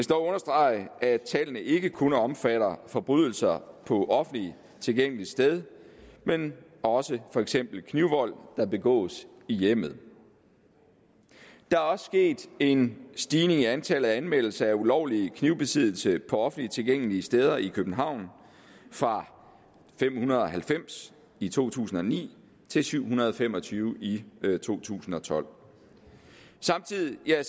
dog understrege at tallene ikke kun omfatter forbrydelser på offentligt tilgængeligt sted men også for eksempel knivvold der begås i hjemmet der er også sket en stigning i antallet af anmeldelser af ulovlig knivbesiddelse på offentligt tilgængelige steder i københavn fra fem hundrede og halvfems i to tusind og ni til syv hundrede og fem og tyve i to tusind og tolv samtidig er